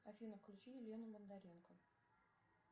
афина включи елену бондаренко